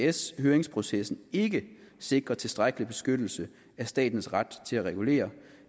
isds høringsprocessen ikke sikrer tilstrækkelig beskyttelse af statens ret til at regulere